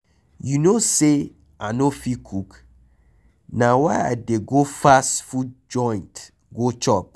You no say I no fit cook, na why I dey go fast food joint go chop